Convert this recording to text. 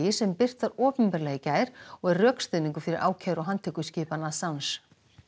sem birt var opinberlega í gær og er rökstuðningur fyrir ákæru og handtökuskipun